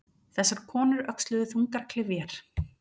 Þessar konur öxluðu þungar klyfjar.